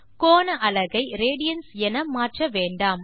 கோண அலகை ரேடியன்ஸ் என மாற்ற வேண்டாம்